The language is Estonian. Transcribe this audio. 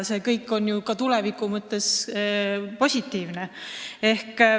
See kõik on ka tuleviku mõttes positiivne.